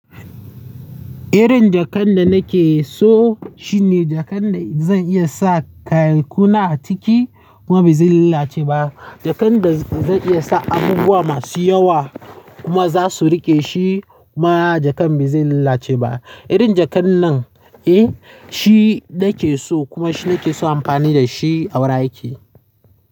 Irin jakan da nake so shi ne jakan da zan iya sa kayankuna a ciki kuma ba zai lalace ba. Jakan da zan iya sa abubuwa masu yawa kuma za su riƙe shi kuma jakan ba zai lalace ba. Irin jakan nan, eh, shi nake so kuma shi nake so in yi amfani da shi a wurin aikina.